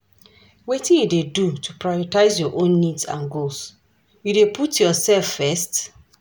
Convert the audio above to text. Wetin you dey do to prioritize your own needs and goals, you dey put yourself first?